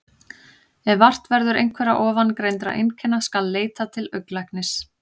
Ef vart verður einhverra ofangreindra einkenna skal leita til augnlæknis.